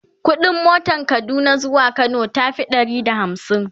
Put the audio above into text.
ƙuɗin motan Kaduna zuwa Kano tafi Ɗari da hamsin